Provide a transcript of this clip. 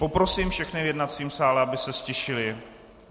Poprosím všechny v jednacím sále, aby se ztišili.